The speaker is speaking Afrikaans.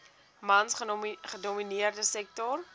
mans gedomineerde sektor